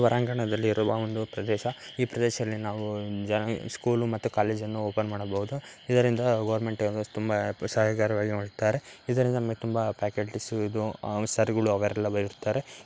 ಹೊರಾಂಗಣದಲ್ಲಿ ಇರುವ ಒಂದು ಪ್ರದೇಶ ಈ ಪ್ರದೇಶದಲ್ಲಿ ನಾವು ಸ್ಕೂಲ್ ಮತ್ತೆ ಕಾಲೇಜು ಅನ್ನು ಓಪನ್ ಮಾಡಬೋದು